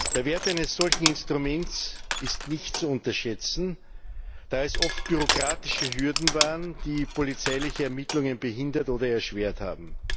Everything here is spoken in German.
Der Wert eines solchen Instruments ist nicht zu unterschätzen, da es oft bürokratische Hürden waren, die polizeiliche Ermittlungen behindert oder erschwert haben.